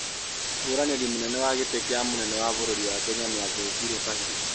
Mũhũranĩri munene wa gĩtĩ kĩa mũnene wa bũrũri wa Kenya nĩathecirwo kahĩũ